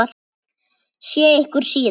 Sé ykkur síðar.